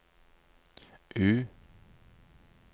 U